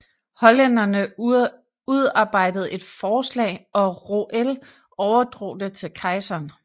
Hollænderne udarbejdede et forslag og Röell overdrog det til kejseren